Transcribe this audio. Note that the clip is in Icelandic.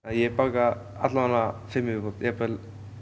ég baka allavega fimm í viðbót jafnvel